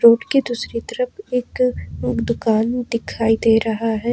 Road के दूसरी तरफ एक दुकान दिखाई दे रहा है।